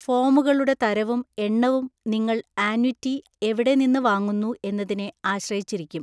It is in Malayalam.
ഫോമുകളുടെ തരവും എണ്ണവും നിങ്ങൾ ആന്വിറ്റി എവിടെ നിന്ന് വാങ്ങുന്നു എന്നതിനെ ആശ്രയിച്ചിരിക്കും.